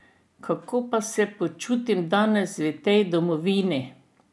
Kako pa se počutim danes v tej domovini?